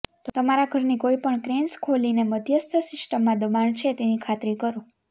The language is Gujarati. તમારા ઘરની કોઈપણ ક્રેન્સ ખોલીને મધ્યસ્થ સિસ્ટમમાં દબાણ છે તેની ખાતરી કરો